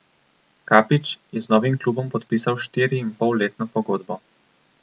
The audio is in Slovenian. Kapić je z novim klubom podpisal štiriinpolletno pogodbo.